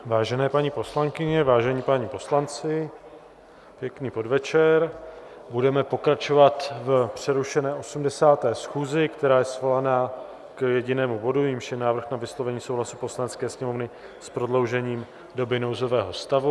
Vážené paní poslankyně, vážení páni poslanci, pěkný podvečer, budeme pokračovat v přerušené 80. schůzi, která je svolaná k jedinému bodu, jímž je návrh na vyslovení souhlasu Poslanecké sněmovny s prodloužením doby nouzového stavu.